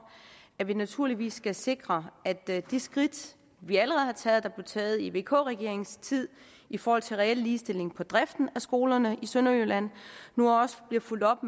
at vi naturligvis skal sikre at der i de skridt vi allerede har taget og taget i vk regeringens tid i forhold til reel ligestilling på driften af skolerne i sydjylland også bliver fulgt op